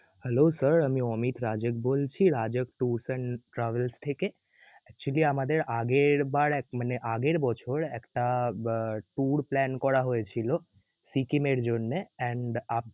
Hello sir আমি অমির রাজেদ বলছি, Raja tours and travels থেকে. actually আমাদের আগের বার এক~ মানে আগের বছর একটা আহ tour plan করা হয়েছিল. সিকিমের জন্যে and আপ~